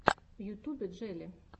в ютьюбе джелли